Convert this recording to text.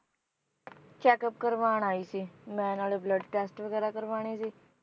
Check up ਕਰਵਾਣ ਆਈ ਸੀ ਮੈ ਨਾਲੇ blood test ਵਗੈਰਾ ਕਰਵਾਣੇ ਸੀ